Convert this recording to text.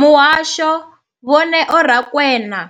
Muhasho, Vho Neo Rakwena,